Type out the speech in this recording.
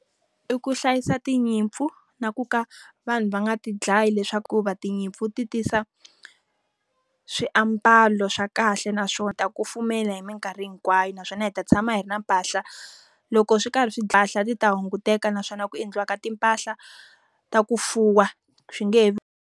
I ku hlayisa tinyimpfu na ka vanhu va nga ti dlayi leswaku tinyimpfu ti tisa swiambalo swa kahle naswona ta kufumela hi minkarhi hinkwayo naswona hi ta tshama hi ri na mpahla. Loko swi karhi swi ti ta hunguteka naswona ku endliwa ka timpahla ta ku fuwa swi nge he .